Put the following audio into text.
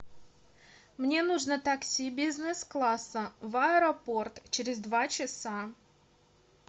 мне нужно такси бизнес класса в аэропорт через два часа